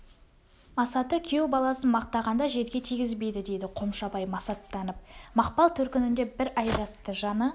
масаты күйеу баласын мақтағанда жерге тигізбейді дейді қомшабай масаттанып мақпал төркінінде бір ай жатты жаны